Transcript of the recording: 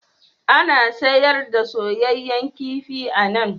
Ana sayar da soyayyen kifi a nan?